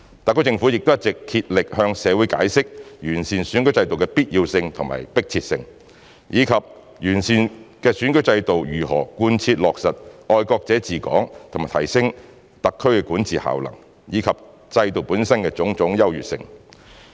特區政府亦一直竭力向社會解釋完善選舉制度的必要性和迫切性，以及完善的選舉制度如何貫徹落實"愛國者治港"和提升特區管治效能，以及制度本身的種種優越性。